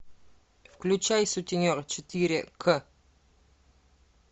включай сутенер четыре к